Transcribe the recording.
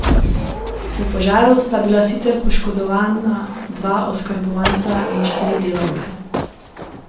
V požaru sta bila sicer poškodovana dva oskrbovanca in štiri delavke.